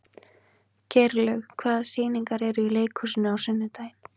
Geirlaug, hvaða sýningar eru í leikhúsinu á sunnudaginn?